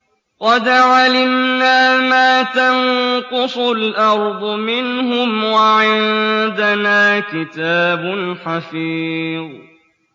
قَدْ عَلِمْنَا مَا تَنقُصُ الْأَرْضُ مِنْهُمْ ۖ وَعِندَنَا كِتَابٌ حَفِيظٌ